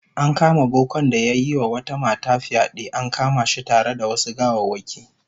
An kama bokan da yayi wata mata fyade, an kama shi tare da wasu gawawwaki